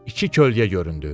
İki kölgə göründü.